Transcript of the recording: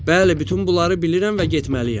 Bəli, bütün bunları bilirəm və getməliyəm.